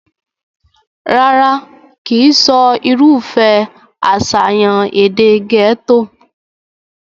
rárá, kìí sọ irúfẹ́ àṣàyàn èdè gẹ́tò